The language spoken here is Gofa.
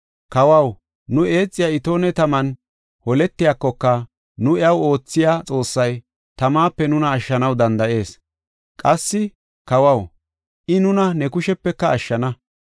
Kawaw, nu eexiya itoone taman holetiyakoka, nu iyaw oothiya Xoossay tamape nuna ashshanaw danda7ees. Qassi kawaw, I nuna ne kushepe ashshana.